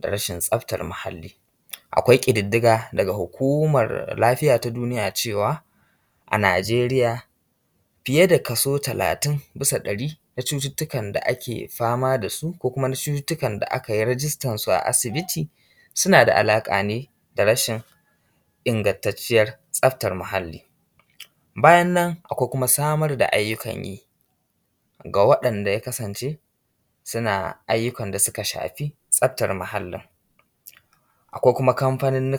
da rashin tsaftar muhalli. Akwai ƙidddiga daga hukummar lafiya ta duniya cewa a Najeriya, fiye da kaso talatin a cikin ɗari na cututtukan da ake fama das u da a ka yi rijistan su a asibiti, suna da alaƙa ne da rashin ingantacciyar tsaftar muhalli. Bayan nan akwai kuma samar da ayyukan yi ga waɗanda ya kasance suna ayyukan da suka shafi tsaftar muhallin. Akwai kuma kamfanonin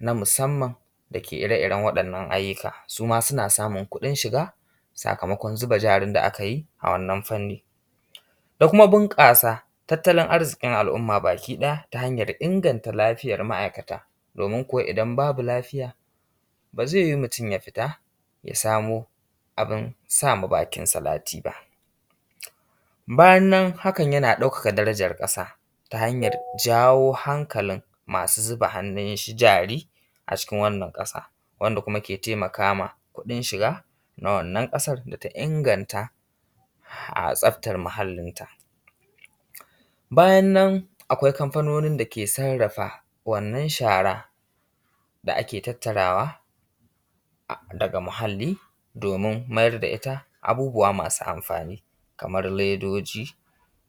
na musamman da ke ire iren waɗannan ayyuka suma suna samun kuɗin shiga sakamakon zuba jarin da aka yi a wannan fannin, da kuma bunƙasa tattalin arzikin al’umma baki ɗaya ta hanyar inganta lafiyar ma’aikata domin kuwa idan babu lafiya ba zai yiwu mutum ya fita ya samo abun sa ma bakin salati ba. Bayan nan hakan yana ɗaukaka darajar ƙasa ta hanyar jawo hankalin ma su zuba hannun jari a cikin wannan ƙasa wanda kuma yake taimaka ma kuɗin shiga wannan ƙasar da ta inganta tsaftar muhallin ta. Bayan nan akwai kamfanonin da ke sarrafa wannan shara da ake tattara ta daga muhalli domin mayar da ita abubbuwa masu amfani kamar ledoji,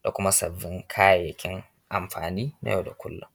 da kuma sabbin kayayyakin amfani na yau da kullum.